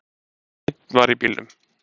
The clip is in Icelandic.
Einn var í bílnum